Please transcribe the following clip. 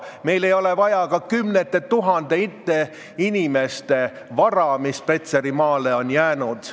Meil ei ole vaja ka kümnete tuhandete inimeste vara, mis Petserimaale on jäänud.